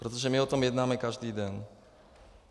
Protože my o tom jednáme každý den.